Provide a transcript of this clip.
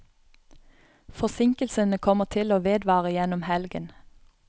Forsinkelsene kommer til å vedvare gjennom helgen.